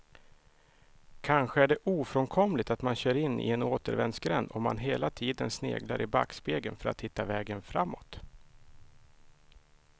Kanske är det ofrånkomligt att man kör in i en återvändsgränd om man hela tiden sneglar i backspegeln för att hitta vägen framåt.